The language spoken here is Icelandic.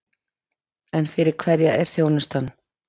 En fyrir hverja er þjónustan?